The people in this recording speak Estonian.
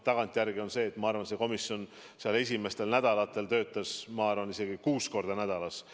Tagantjärele vaadates, ma arvan, see komisjon töötas esimestel nädalatel isegi kuus korda nädalas.